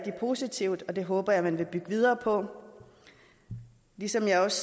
positivt og det håber jeg man vil bygge videre på ligesom jeg også